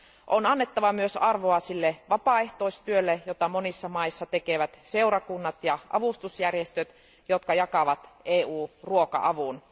On annettava myös arvoa sille vapaaehtoistyölle, jota monissa maissa tekevät seurakunnat ja avustusjärjestöt, jotka jakavat EU ruoka avun.